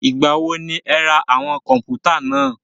Ìgbà wo ni ẹ ra àwọn kọ̀npútà náà?